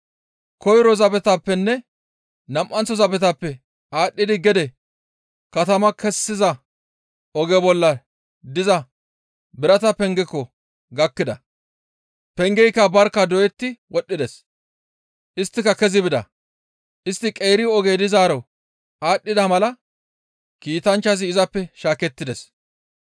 Koyro zabetappenne nam7anththo zabetappe aadhdhidi gede katama kessiza oge bolla diza birata pengaako gakkida; pengeyka barkka doyetti wodhdhides; istti kezi bida; istti qeeri oge dizaaro aadhdhida mala kiitanchchazi izappe shaakettides.